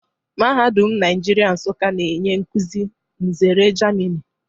Mahadum Nigeria Nsukka na-enye nkuzi nzere Germini